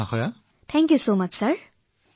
অশেষ ধন্যবাদ মহোদয়